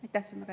Aitäh!